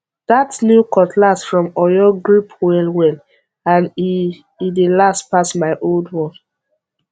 that new cutlass from oyo grip well well and e e dey last pass my old one